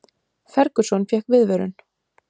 Ferguson fékk viðvörun